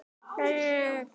Hvað var að þér?